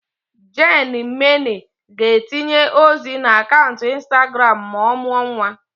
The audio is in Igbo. Jane Mena ga-etinye ozi na akaụntụ Instagram ma ọ mụọ nwa.